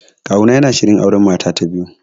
Kawuna yana shirin auren mata ta biyu